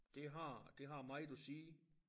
Det har det har meget at sige